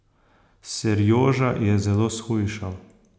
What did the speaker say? Serjoža je zelo shujšal.